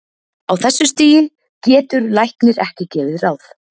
Á þessu stigi getur læknir ekki gefið ráð.